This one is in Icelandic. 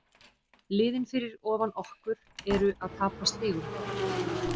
Liðin fyrir ofan okkur eru að tapa stigum.